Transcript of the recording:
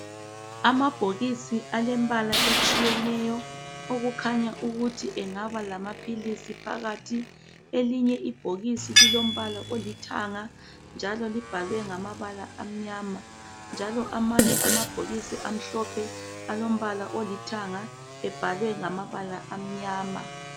Amabhokisi alembala etshiyeneyo okukhanya ukuthi engaba lamaphilisi phakathi elinye ibhokisi lilombala olithanga njalo libhalwe ngamabala amnyama njalo amanye amabhokisi amhlophe alombala olithanga ebhalwe ngamabala amnyama.